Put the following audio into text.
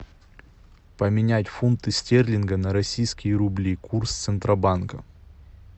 поменять фунты стерлинги на российские рубли курс центробанка